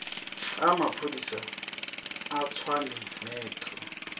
a maphodisa a tshwane metro